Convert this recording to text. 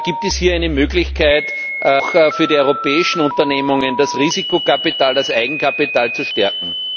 Gibt es hier eine Möglichkeit, auch für die europäischen Unternehmungen das Risikokapital, das Eigenkapital zu stärken?